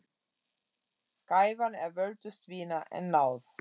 Gæfan er völtust vina, en náð